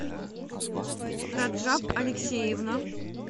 раджаб алексеевна